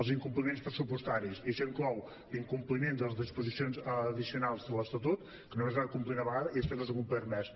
els in·compliments pressupostaris i això inclou l’incompliment de les disposicions addi·cionals de l’estatut que només es va complir una vegada i després no s’ha complert més